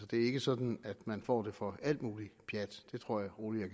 det er ikke sådan at man får for alt muligt pjat det tror jeg rolig